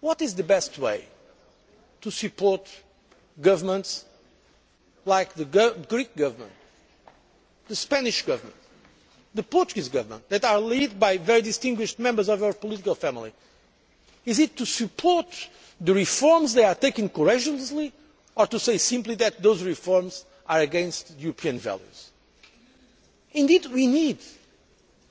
What is the best way to support governments like the Greek Government, the Spanish Government, the Portuguese Government, that are led by very distinguished members of our political family. Is it to support the reforms they are taking courageously, or to say simply that those reforms are against European values?